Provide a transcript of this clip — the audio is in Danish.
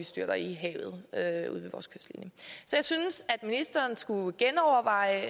styrter i havet så jeg synes at ministeren skulle genoverveje